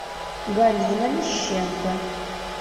галина мещенко